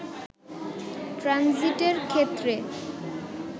ট্রানজিটের ক্ষেত্রে